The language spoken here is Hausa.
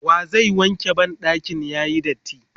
wa zai wanke banɗakin yayi datti?